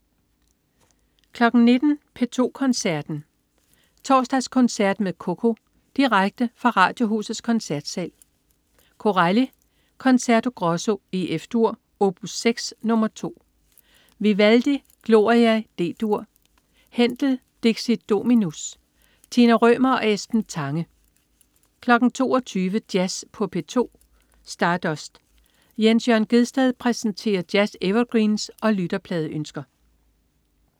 19.00 P2 Koncerten. Torsdagskoncert med Coco. Direkte fra Radiohusets Koncertsal. Corelli: Concerto Grosso F-dur, opus 6, nr. 2. Vivaldi: Gloria D-dur. Händel: Dixit Dominus. Tina Rømer og Esben Tange 22.00 Jazz på P2. Stardust. Jens Jørn Gjedsted præsenterer jazz-evergreens og lytterpladeønsker